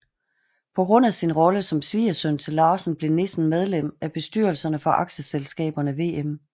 På grund af sin rolle som svigersøn til Larsen blev Nissen medlem af bestyrelserne for aktieselskaberne Wm